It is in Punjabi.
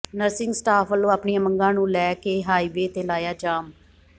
ਨਰਸਿੰਗ ਸਟਾਫ ਵਲੋਂ ਆਪਣੀਆਂ ਮੰਗਾ ਨੂੰ ਲੇੈ ਕੇ ਹਾਈਵੇਅ ਤੇ ਲਾਇਆ ਜਾਮ